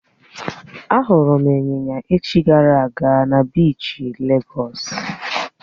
Á hụrụ m Ị́nyinya echi gara aga na biishi légọ́s